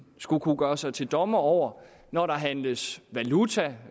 skulle kunne gøre sig til dommer over når der handles valuta